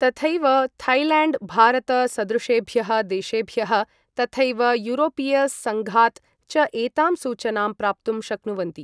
तथैव थैलेण्ड् भारत सदृशेभ्यः देशेभ्यः, थथैव यूरोपीय सङ्घात् च एतां सूचनां प्राप्तुं शक्नुवन्ति।